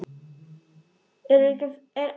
Flestir ættaðir frá honum.